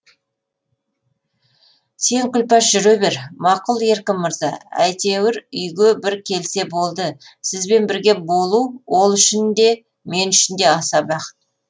сен күлпаш жүре бер мақұл еркін мырза әйтеу үйге бір келсе болды сізбен бірге болу ол үшін де мен үшін де аса бақыт